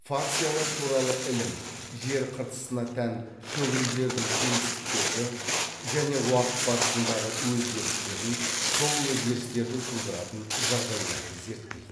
фациялар туралы ілім жер қыртысына тән шөгінділердің кеңістіктегі және уақыт барысындағы өзгерістерін сол өзгерістерді тудыратын жағдайларды зерттейді